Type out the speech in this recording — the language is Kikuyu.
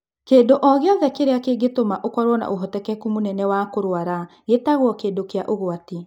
Kĩndũ o gĩothe kĩrĩa kĩngĩtũma ũkorũo na ũhotekeku mũnene wa kũrwara gĩtagwo kĩndũ kĩa ũgwati.